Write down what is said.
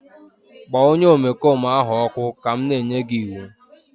kpọọ onye omekome ahụ ọkụ ka m na-enye gị iwu!